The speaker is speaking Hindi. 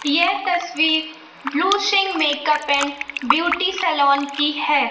यह तस्वीर blue Singh makeup and beauty salon की है।